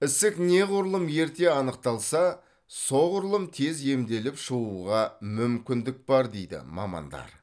ісік неғұрлым ерте анықталса соғұрлым тез емделіп шығуға мүмкіндік бар дейді мамандар